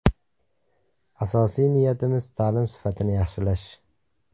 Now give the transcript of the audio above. Asosiy niyatimiz ta’lim sifatini yaxshilash!